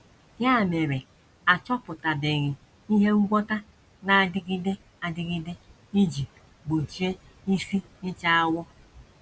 Ya mere, a chọpụtabeghị ihe ngwọta na - adịgide adịgide iji gbochie isi ịcha awọ.